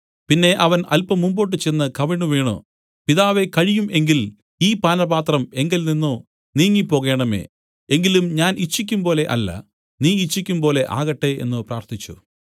പിന്നെ അവൻ അല്പം മുമ്പോട്ടുചെന്നു കവിണ്ണുവീണു പിതാവേ കഴിയും എങ്കിൽ ഈ പാനപാത്രം എങ്കൽ നിന്നു നീങ്ങിപ്പോകേണമേ എങ്കിലും ഞാൻ ഇച്ഛിക്കുംപോലെ അല്ല നീ ഇച്ഛിക്കുംപോലെ ആകട്ടെ എന്നു പ്രാർത്ഥിച്ചു